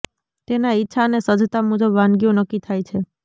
તેના ઇચ્છા અને સજ્જતા મુજબ વાનગીઓ નક્કી થાય છે